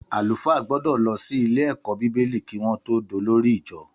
Àlúfà gbọdọ lọ si ìlé ẹkọ bíbélì ki won tọ dọlòrí ìjọ